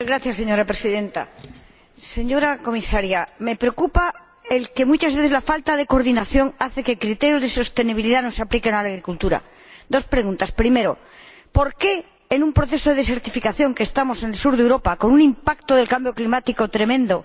Señora Presidenta, señora Comisaria, me preocupa el que, muchas veces, la falta de coordinación hace que los criterios de sostenibilidad no se apliquen a la agricultura. Quiero formular dos preguntas primero, en un proceso de desertificación como el que conocemos en el sur de Europa, con un impacto del cambio climático tremendo,